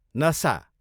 नसा